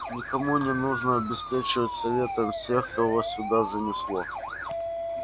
никому не нужно обеспечивать светом всех кого сюда занесло